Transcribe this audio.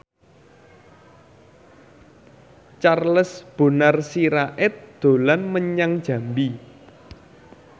Charles Bonar Sirait dolan menyang Jambi